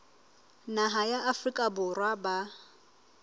naha ya afrika borwa ba